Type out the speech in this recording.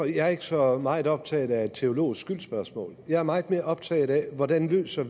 jeg er ikke så meget optaget af et teologisk skyldsspørgsmål jeg er meget mere optaget af hvordan vi løser